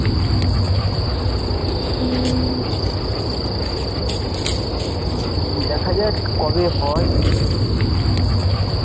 হম দেখা যাক কবে হয়,